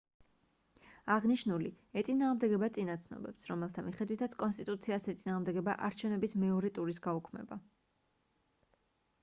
აღნიშნული ეწინააღმდეგება წინა ცნობებს რომელთა მიხედვითაც კონსტიტუციას ეწინააღმდეგება არჩევნების მეორე ტურის გაუქმება